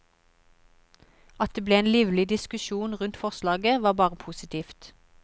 At det ble en livlig diskusjon rundt forslaget, var bare positivt.